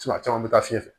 a caman bɛ taa fiɲɛ fɛ